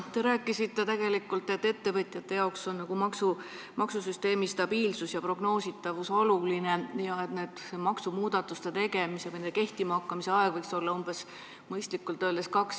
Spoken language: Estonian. Te rääkisite, et ettevõtjatele on maksusüsteemi stabiilsus ja prognoositavus oluline ja et maksumuudatuste kehtima hakkamise aeg võiks olla umbes kaks aastat.